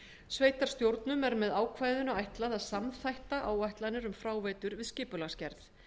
sveitarstjórnum er með ákvæðinu ætlað að samþætta áætlanir um fráveitur við skipulagsgerð